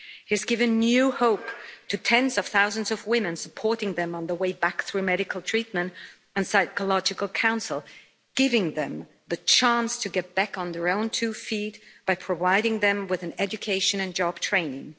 He has given new hope to tens of thousands of women, supporting them on the way back through medical treatment and psychological counsel, giving them the chance to get back on their own two feet by providing them with an education and job training.